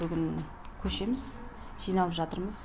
бүгін көшеміз жиналып жатырмыз